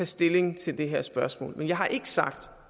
stilling til det her spørgsmål men jeg har ikke sagt